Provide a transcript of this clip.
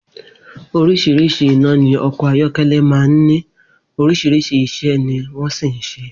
Orís̩rís̩i iná ni o̩kò̩ ayó̩ké̩lé̩ máa ń ní, orís̩irís̩i is̩é̩ ni wó̩n sì ń s̩e